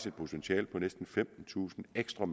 et potentiale på næsten femtentusind ekstra